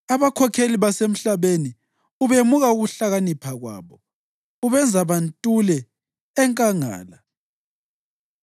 Abakhokheli basemhlabeni ubemuka ukuhlakanipha kwabo; ubenza bantule enkangala.